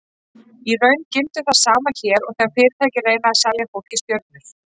Í raun gildir það sama hér og þegar fyrirtæki reyna að selja fólki stjörnur.